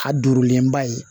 A dureba ye